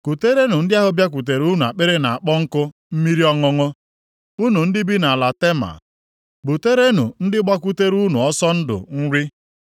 kuterenụ ndị ahụ bịakwutere unu akpịrị na-akpọ nkụ mmiri ọṅụṅụ; unu ndị bi nʼala Tema, buterenụ ndị gbakwutere unu ọsọ ndụ nri.